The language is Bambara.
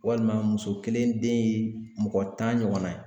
Walima muso kelen den ye mɔgɔ tan ɲɔgɔnna ye